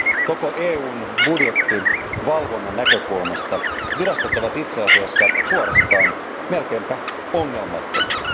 Koko EUn budjettivalvonnan näkökulmasta virastot ovat itse asiassa suorastaan melkeinpä ongelmattomia.